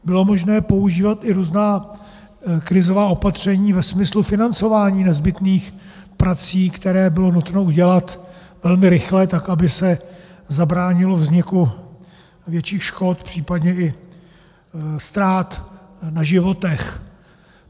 Bylo možné používat i různá krizová opatření ve smyslu financování nezbytných prací, které bylo nutné udělat velmi rychle, tak aby se zabránilo vzniku větších škod, případně i ztrát na životech.